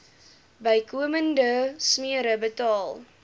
bykomende smere betaal